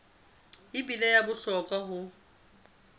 e bile wa bohlokwa ho